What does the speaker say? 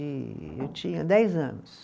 E eu tinha dez anos.